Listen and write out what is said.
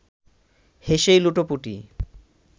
হেসেই লুটোপুটি